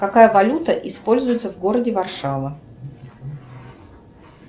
какая валюта используется в городе варшава